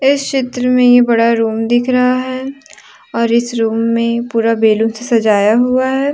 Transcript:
इस चित्र में ये बड़ा रूम दिख रहा है और इस रूम पूरा बैलून से सजाया हुआ है।